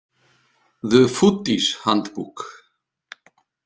The Foodies Handbook.